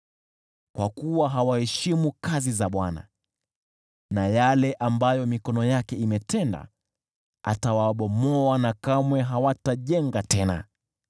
Kwa kuwa hawaheshimu kazi za Bwana , na yale ambayo mikono yake imetenda, atawabomoa na kamwe hatawajenga tena.